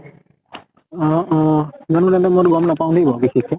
অ অ মই টো গম নাপাওঁ দে আৰু বিশেষকে।